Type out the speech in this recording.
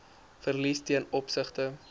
verliese ten opsigte